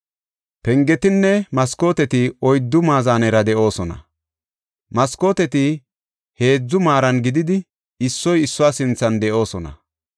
Pengetinne maskooteti oyddu maazanera de7oosona; maskooteti heedzu maaran gididi, issoy issuwa sinthan de7oosona.